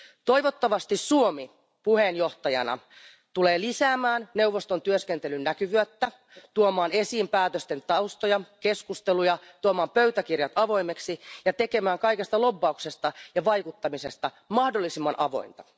Toivottavasti Suomi puheenjohtajana tulee lisäämään neuvoston työskentelyn näkyvyyttä, tuomaan esiin päätösten taustoja, keskusteluja, tuomaan pöytäkirjat avoimeksi ja tekemään kaikesta lobbauksesta ja vaikuttamisesta mahdollisimman avointa.